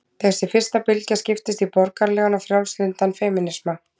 Þessi fyrsta bylgja skiptist í borgaralegan og frjálslyndan femínisma.